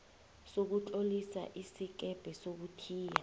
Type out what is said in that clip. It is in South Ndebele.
sokutlolisa isikebhe sokuthiya